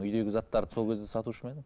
үйдегі заттарды сол кезде сатушы ма едің